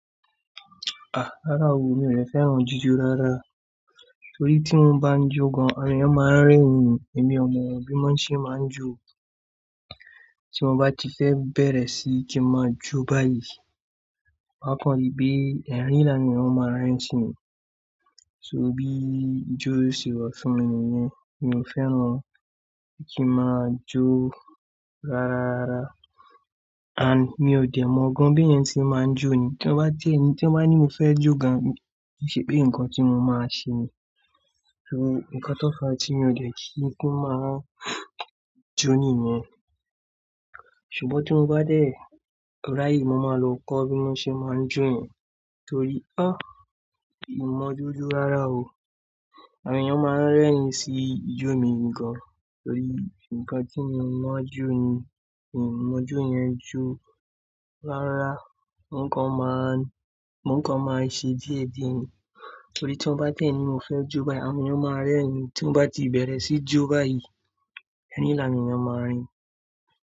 Ah! Rárá o, mi ò fẹ́ràn jíjó rárá. Nítorí tí wọ́n bá ń jó gàn, àwọn èèyàn máa ń rẹ́ni, èmi ọmọ bí wòn ṣe máa ń jó. Tí mo bá ti fẹ́ bẹ̀rẹ̀ sí kí máa jó báyìí, máa kàn rí pé, ẹ́rìn ni áwọ́n èyàn máa rín sí mi. So bí ijó ṣe rọ fún mi nìyẹn, mi ò fẹ́ràn kí máa jó rárá. And mi ò dẹ̀ mọ̀ gàn bí ẹ̀yàn ti máa ń jó ni. Tí wọ́n bá tiẹ́ ni, tí wọ́n bá ní mo fẹ́ jó gan, ṣébí nǹkan tí mò máa ṣe ni. So nǹkan tó fàá tí mi ò dé kí n máa jó nìyẹn. Ṣùgbọ́n tí mo bá dé rí ayè, mo máa lo kó bí wọ́n ṣe máa ń jó yẹ́n. Torí, a! Èmi ò mọ́ ijó jó rárá o. Àwọn èèyàn máa ń rẹ́rin sí ijó mi nì gàn. Torí nǹkan tí mo máa ń jó ni, mi ò mọ́ jó yẹn jó. Rárá, nǹkan máa ń, nǹkan máa ń ṣe díẹ̀díẹ̀ ni. Torí tí wọ́n bá tiẹ́ ni tí mo fẹ́ jó báyìí, àwọn èèyàn máa rẹ́rin, tí wọ́n bá ti bẹ̀rẹ̀ sí jó báyìí, ẹ́rìnlá ni awọ́n èyàn máa rín.